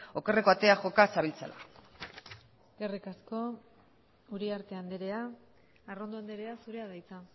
okerreko atea joka zabiltzala eskerrik asko uriarte andrea arrondo andrea zurea da hitza